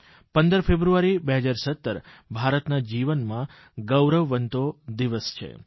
15 ફેબ્રુઆરી 2017 ભારતના જીવનમાં ગૌરવવંતો દિવસ છે